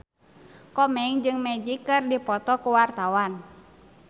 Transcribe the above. Komeng jeung Magic keur dipoto ku wartawan